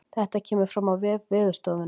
Þetta kemur fram á vef veðurstofunnar